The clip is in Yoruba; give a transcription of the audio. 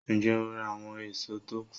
Ń jẹ́ ó ra àwọn èso tó kù